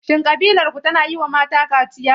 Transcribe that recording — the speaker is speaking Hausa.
Shin ƙabilarku tana yiwa mata kaciya?